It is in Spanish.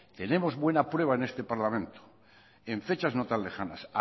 tenemos buena prueba en este parlamento en fechas no tan lejanas